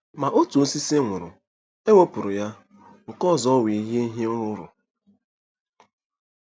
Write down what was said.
Ma otu osisi nwụrụ, e wepụrụ ya, nke ọzọ wee yie ihe nrụrụ.